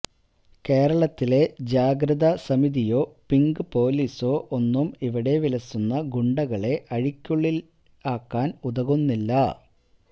കേരളത്തിലെ ജാഗ്രത സമിതിയോ പിങ്ക് പോലീസോ ഒന്നും ഇവിടെ വിലസുന്ന ഗുണ്ടകളെ അഴികള്ക്കുള്ളില് ആക്കാന് ഉതകുന്നില്ല